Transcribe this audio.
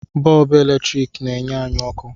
Bọọbụ eletrik n'enye anyị ọkụ